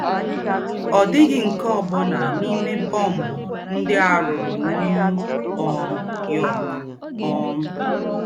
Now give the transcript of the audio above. Ọ̀ dị̀ghị́ nke ọ́ bụ́nà n’íme bọ́mbụ̀ ńdị́ à rùrù New um York. um